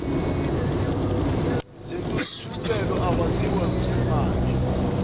zentuthuko akwaziwe kusemanjena